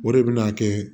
O de bɛ n'a kɛ